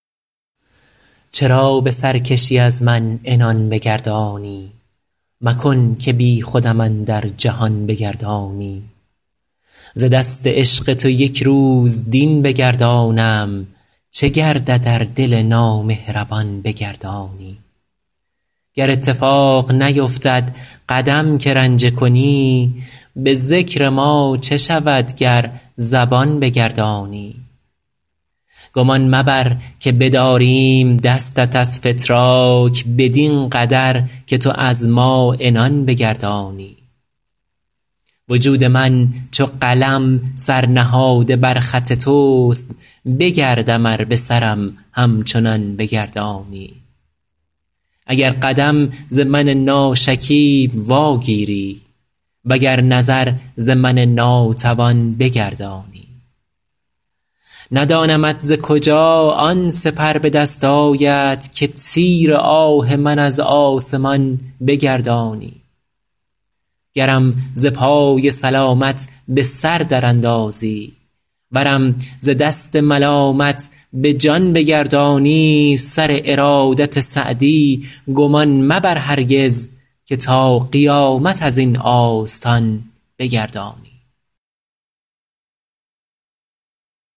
چرا به سرکشی از من عنان بگردانی مکن که بیخودم اندر جهان بگردانی ز دست عشق تو یک روز دین بگردانم چه گردد ار دل نامهربان بگردانی گر اتفاق نیفتد قدم که رنجه کنی به ذکر ما چه شود گر زبان بگردانی گمان مبر که بداریم دستت از فتراک بدین قدر که تو از ما عنان بگردانی وجود من چو قلم سر نهاده بر خط توست بگردم ار به سرم همچنان بگردانی اگر قدم ز من ناشکیب واگیری و گر نظر ز من ناتوان بگردانی ندانمت ز کجا آن سپر به دست آید که تیر آه من از آسمان بگردانی گرم ز پای سلامت به سر در اندازی ورم ز دست ملامت به جان بگردانی سر ارادت سعدی گمان مبر هرگز که تا قیامت از این آستان بگردانی